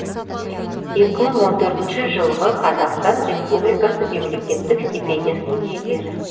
екі мың он төртінші жылғы қазақстан республикасы мемлекеттік стипендиясының иегері